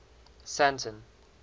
sandton